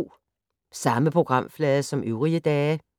Samme programflade som øvrige dage